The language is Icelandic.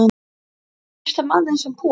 Er hægt að treysta manni sem púar?